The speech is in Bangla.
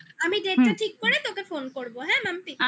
আমিdate টা ঠিক করে তোকে phone করবো হ্যাঁ মাম্পি